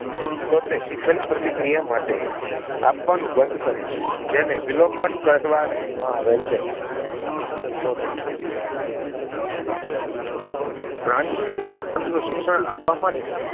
તો તે શીખેલ પ્રતિક્રિયા માટે આપવાનું બંધ કરે છે જેને વિલોપન કાઢવામાં આવે છે પ્રાણી એ વિલોપન નું શિક્ષણ આપવા માટે